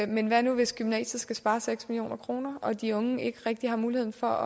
men hvad nu hvis gymnasiet skal spare seks million kroner og de unge ikke rigtig har mulighed for